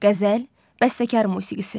Qəzəl, bəstəkar musiqisi.